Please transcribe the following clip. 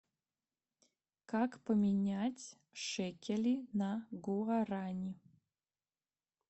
как поменять шекели на гуарани